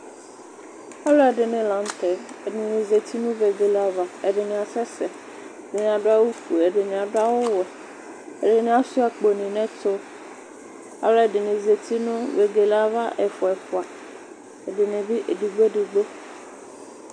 ɔlò ɛdini lantɛ ɛdini zati no vegele ava ɛdini asɛ sɛ ɛdini adu awu fue ɛdini adu awu wɛ ɛdini asua akpo ni n'ɛto alò ɛdini zati no vegele ava ɛfua ɛfua ɛdini bi edigbo edigbo.